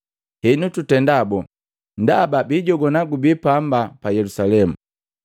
Henu tutenda boo? Ndaba biijogwana gubii pamba pa Yelusalemu.